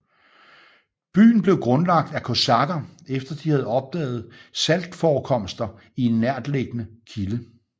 Byen blev grundlagt af kosakker efter de havde opdaget saltforekomster i en nærtliggende kilde